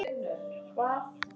Eins og í dag.